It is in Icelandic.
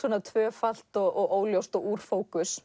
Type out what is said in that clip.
tvöfalt og óljóst og úr fókus